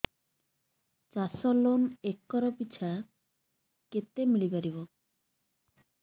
ଚାଷ loan acre ପିଛା କେତେ ମିଳି ପାରିବ